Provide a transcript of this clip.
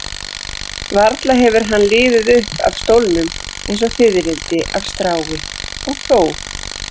Varla hefur hann liðið upp af stólnum eins og fiðrildi af strái, og þó.